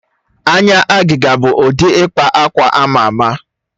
Anya agịga bụ ụdị ịkpa akwa ama ama.